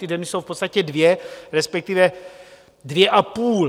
Ty země jsou v podstatě dvě, respektive dvě a půl.